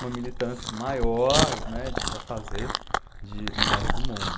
uma militância maior, né, de, para fazer, de, no resto do mundo.